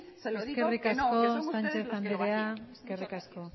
se lo digo que no que son ustedes los que lo hacían eskerrik asko sánchez andrea eskerrik asko